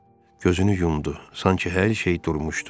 Gözünü yumdu, sanki hər şey durmuşdu.